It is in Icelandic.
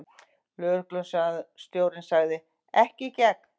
Lögreglustjórinn sagði: Ekki í gegn.